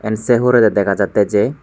iyen sey hurey degajattey jei.